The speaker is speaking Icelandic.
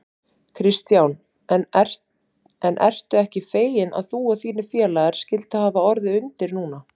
Kristján: En ertu ekki feginn að þú og þínir félagar skylduð hafa orðið undir núna?